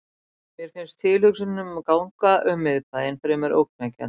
Mér fannst tilhugsunin um að ganga um í miðbænum fremur ógnvekjandi.